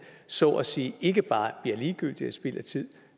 så at sige ikke bare bliver ligegyldige og spild af tid